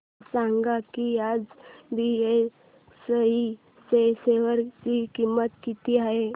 हे सांगा की आज बीएसई च्या शेअर ची किंमत किती आहे